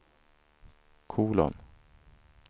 kolon